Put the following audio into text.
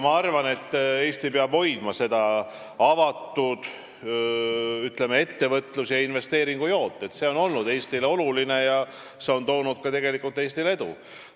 Ma arvan, et Eesti peab hoidma, ütleme, avatud ettevõtluse ja investeeringu joont, see on olnud oluline ja toonud meile ka edu.